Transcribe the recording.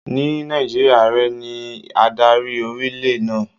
Ní Nàìjíríà, Ààrẹ ní adarí orílẹ̀ náà.